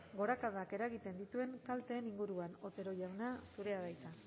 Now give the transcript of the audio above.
gorakadak eragiten dituen kalteen inguruan otero jauna zurea da hitza